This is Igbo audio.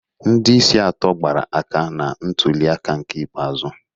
Ndị isi atọ gbara aka na ntuli aka ikpeazụ